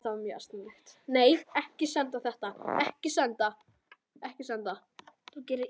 Myndirnar sem fylgja svarinu sýna staðsetningar reikistjarna á himninum.